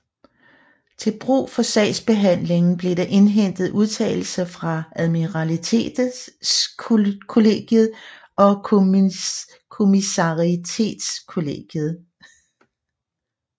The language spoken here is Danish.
Til brug for sagsbehandlingen blev der indhentet udtalelser fra admiralitetskollegiet og kommissariatskollegiet